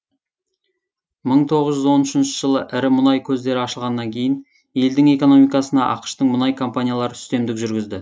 мың тоғыз жүз он үшінші жылы ірі мұнай көздері ашылғаннан кейін елдің экономикасына ақш тың мұнай компаниялары үстемдік жүргізді